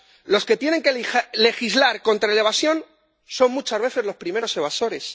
Los que tienen que legislar contra la evasión son muchas veces los primeros evasores.